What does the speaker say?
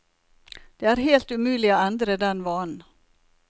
Det er helt umulig å endre den vanen.